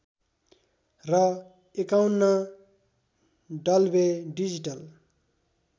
र ५१ Dolby digital